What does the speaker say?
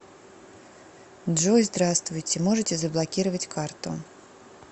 джой здравствуйте можете заблокировать карту